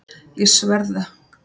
Ég sver það!